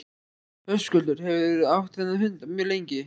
Höskuldur: Hefurðu átt þennan hund mjög lengi?